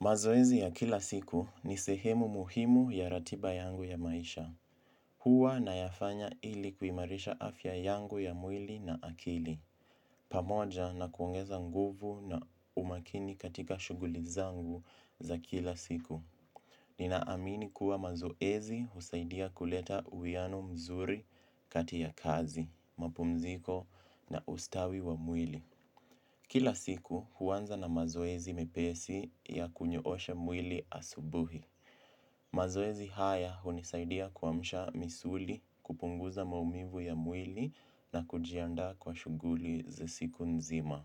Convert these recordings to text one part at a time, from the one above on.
Mazoezi ya kila siku ni sehemu muhimu ya ratiba yangu ya maisha. Huwa nayafanya ili kuimarisha afya yangu ya mwili na akili. Pamoja na kuongeza nguvu na umakini katika shuguli zangu za kila siku. Nina amini kuwa mazoezi husaidia kuleta uianu mzuri kati ya kazi, mapumziko na ustawi wa mwili. Kila siku huanza na mazoezi mepesi ya kunyoosha mwili asubuhi. Mazoezi haya hunisaidia kuamsha misuli, kupunguza maumivu ya mwili na kujianda kwa shuguli za siku nzima.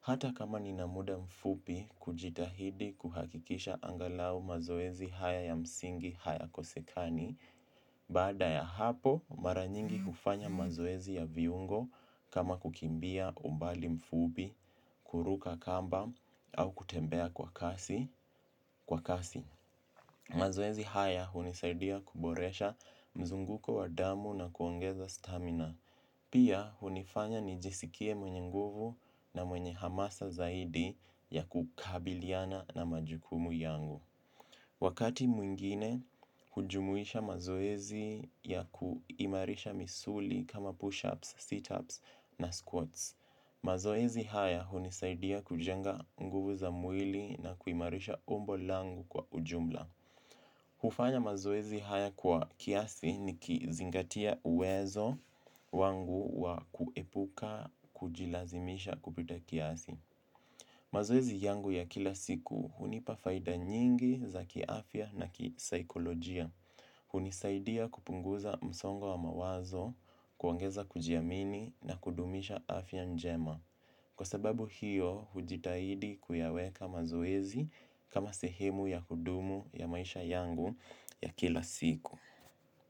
Hata kama ninamuda mfupi kujitahidi kuhakikisha angalau mazoezi haya ya msingi haya kosekani, baada ya hapo, mara nyingi hufanya mazoezi ya viungo kama kukimbia umbali mfupi, kuruka kamba, au kutembea kwa kasi. Mazoezi haya hunisaidia kuboresha mzunguko wa damu na kuongeza stamina. Pia, hunifanya nijisikie mwenye nguvu na mwenye hamasa zaidi ya kukabiliana na majukumu yangu. Wakati mwingine, hujumuisha mazoezi ya kuimarisha misuli kama push-ups, sit-ups na squats. Mazoezi haya hunisaidia kujenga nguvu za mwili na kuimarisha umbo langu kwa ujumla. Hufanya mazoezi haya kwa kiasi ni kizingatia uwezo wangu wa kuepuka kujilazimisha kupita kiasi. Mazoezi yangu ya kila siku hunipa faida nyingi za kiafya na kisaikolojia. Hunisaidia kupunguza msongo wa mawazo, kuongeza kujiamini na kudumisha afya njema. Kwa sababu hiyo, hujitahidi kuyaweka mazoezi kama sehemu ya kudumu ya maisha yangu ya kila siku.